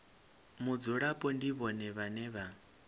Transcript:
mudzulapo ndi vhone vhane vha